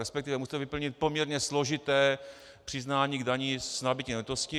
Respektive musíte vyplnit poměrně složité přiznání k dani z nabytí nemovitosti.